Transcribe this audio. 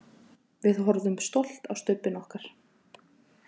Við horfðum stolt á stubbinn okkar.